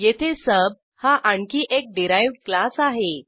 येथे सुब हा आणखी एक डिराइव्ह्ड क्लास आहे